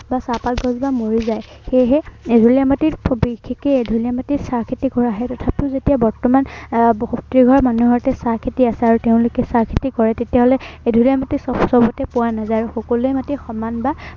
বা চাহ পাত গছজোপা মৰি যায়। সেয়েহে এঢলীয়া মাটি এঢলীয়া মাটিত চাহ খেতি কৰা হয়। তথাপিও যেতিয়া বৰ্তমান আহ প্ৰতিঘৰ মানুহৰ ঘৰতে চাহ খেতি আছে, আৰু তেওঁলোকে চাহ খেতি কৰে, তেতিয়া হলে, এঢলীয়া মাটি স সৱতে পোৱা নাযায়, আৰু সকলো মাটি সমান বা